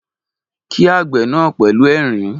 Kí àgbẹ̀ náà pẹ̀lú ẹ̀rín